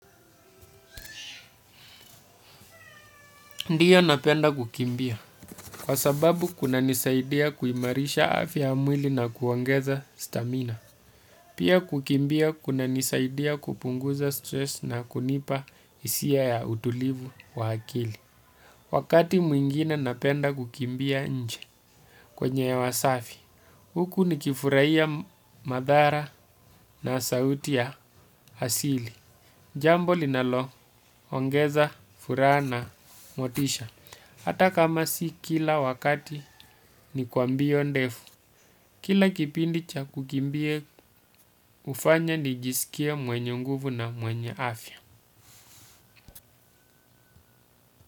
Ndiyo napenda kukimbia kwa sababu kunanisaidia kuimarisha afya ya mwili na kuongeza stamina. Pia kukimbia kunanisaidia kupunguza stress na kunipa hisia ya utulivu wa akili. Wakati mwingine napenda kukimbia nje kwenye hewa safi. Huku nikifurahia madhara na sauti ya asili. Jambo linaloongeza, furaha na motisha. Hata kama si kila wakati ni kwa mbio ndefu. Kila kipindi cha kukimbia hufanya nijisikie mwenye nguvu na mwenye afya.